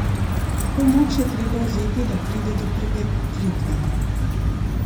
To moč je treba vzeti, da pride do prevetritve.